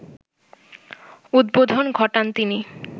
উদ্বোধন ঘটান তিনি